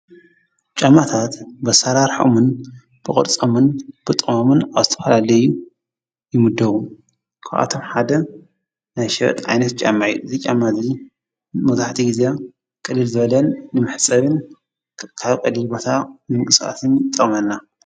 ጫማታት ብኣሰራርሖኦምን ብቕርፆምን ብጥቅሞምን ኣብ ዝተፈላለዩ ይምደቡ። ካብኣቶም ሓደ ናይ ሸበጥ ዓይነት ጫማ እዩ እዚ ጫማ እዚ መብዛሕትኡ ግዜ ቅልል ዝበለን ንመሕፀቢን ኣብ ቀሊል ቦታ ንምንቅስቃስን ይጠቕመና።